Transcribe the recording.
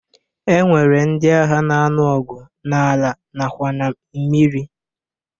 E nwere ndị agha na-anu ọgụ n'ala nakwa na mmiri